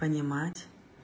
понимать